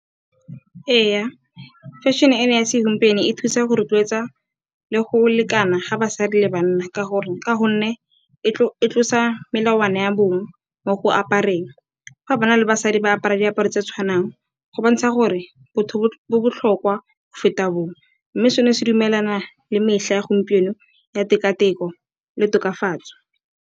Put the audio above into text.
Ee, fashion-e ya segompieno e thusa go rotloetsa le go lekana ga basadi le banna ka gonne e tlosa melawana ya bongwe mo go apareng. Fa banna le basadi ba apara diaparo tse tshwanang go bontsha gore botho bo botlhokwa go feta bong mme seno se dumelana le metlha ya gompieno ya tekateko le tokafatso.